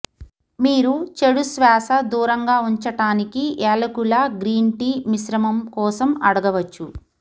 మీరు చెడు శ్వాస దూరంగా ఉంచటానికి ఏలకుల గ్రీన్ టీ మిశ్రమం కోసం అడగవొచ్చు